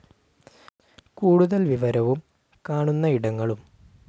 കൂടുതൽ വിവരവും കാണുന്ന ഇടങ്ങളും